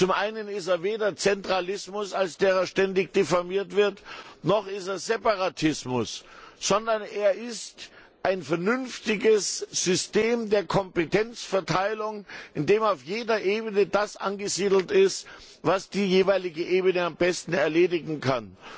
Zum einen ist er weder Zentralismus, als der er ständig diffamiert wird, noch ist er Separatismus, sondern er ist ein vernünftiges System der Kompetenzverteilung, in dem auf jeder Ebene das angesiedelt ist, was die jeweilige Ebene am besten erledigen kann.